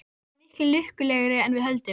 Við erum miklu lukkulegri en við höldum.